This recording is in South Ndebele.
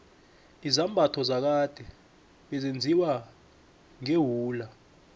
izambatho zakade bezenziwa ngewula